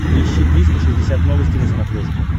поищи триста шестьдесят новости на смотрешке